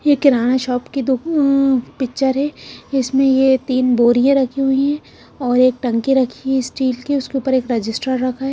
ये किराना शॉप की दु ह पिक्चर है इसमें ये तीन बोरियां रखी हुई है और एक टंकी रखी है स्टील की उसके ऊपर एक रजिस्टर रखा है।